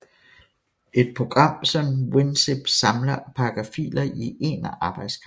Et program som WinZip samler og pakker filer i en arbejdsgang